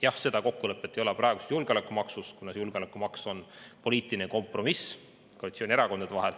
Jah, seda kokkulepet ei ole praeguse julgeolekumaksu puhul, kuna julgeolekumaks on poliitiline kompromiss koalitsioonierakondade vahel.